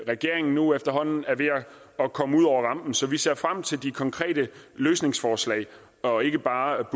regeringen nu efterhånden er ved at komme ud over rampen så vi ser frem til de konkrete løsningsforslag og ikke bare